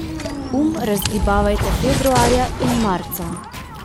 Um razgibavajte februarja in marca.